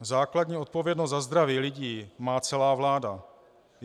Základní odpovědnost za zdraví lidí má celá vláda.